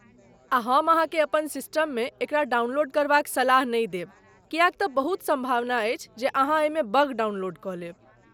आ हम अहाँकेँ अपन सिस्टममे एकरा डाउनलोड करबाक सलाह नहि देब किएक तँ बहुत सम्भावना अछि जे अहाँ एहिमे बग डाउनलोड कऽ लेब।